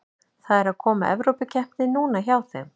Það er að koma Evrópukeppni núna hjá þeim.